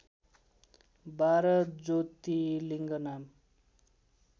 १२ ज्योतिलिङ्ग नाम